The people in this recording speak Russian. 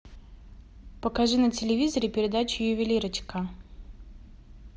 покажи на телевизоре передачу ювелирочка